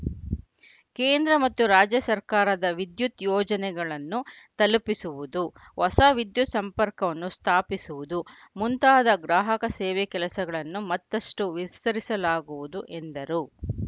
ಕೇಂದ್ರ ಮತ್ತು ರಾಜ್ಯ ಸರ್ಕಾರದ ವಿದ್ಯುತ್‌ ಯೋಜನೆಗಳನ್ನು ತಲುಪಿಸುವುದು ಹೊಸ ವಿದ್ಯುತ್‌ ಸಂಪರ್ಕವನ್ನು ಸ್ಥಾಪಿಸುವುದು ಮುಂತಾದ ಗ್ರಾಹಕ ಸೇವೆ ಕೆಲಸಗಳನ್ನು ಮತ್ತಷ್ಟು ವಿಸ್ತರಿಸಲಾಗುವುದು ಎಂದರು